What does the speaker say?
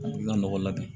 I ka nɔgɔ la dun